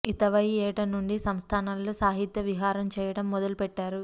ఇతవై యేట నుండి సంస్థానాలలో సాహిత్య విహారం చేయటం మొదలు పెట్టారు